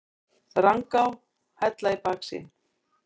Rangá, Hella í baksýn.